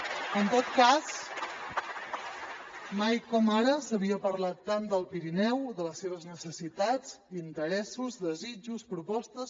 en tot cas mai com ara s’havia parlat tant del pirineu de les seves necessitats interessos desitjos propostes